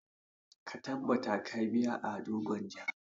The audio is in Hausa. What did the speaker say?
Ta tabbata ka biya ado gwanja!